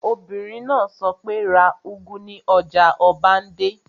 Obìnrin náà sọ pé, 'ra úgú ní ọjà ọbándẹ́!